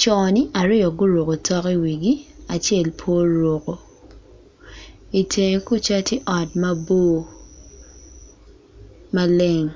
co ni aryo guruko tok i wigi acel pe oruko i tenge kuca tye ot mabor maleng.